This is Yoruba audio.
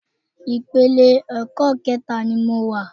Ìpele ẹ̀kọ́ kẹẹ̀ta ni mo wà.